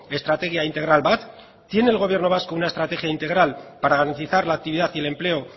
estrategia integral bat tiene el gobierno vasco una estrategia integral para garantizar la actividad y el empleo